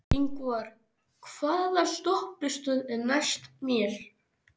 Ingvar, hvaða stoppistöð er næst mér?